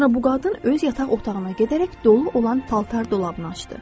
Sonra bu qadın öz yataq otağına gedərək dolu olan paltar dolabını açdı.